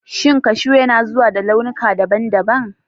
Shin kashu yana zuwa da launuka daban-daban?